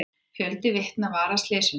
Fjöldi vitna var að slysinu.